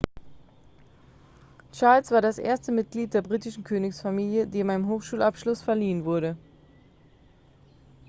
charles war das erste mitglied der britischen königsfamilie dem ein hochschulabschluss verliehen wurde